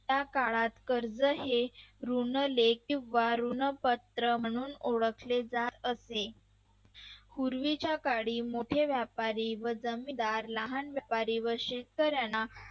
या काळात कर्ज हे ऋण वा ऋणपत्र म्हणून ओळखले जात असे. पूर्वीच्या काळी मोठे व्यापारी वजनदार लहान व्यापारी व शेतकऱ्यांना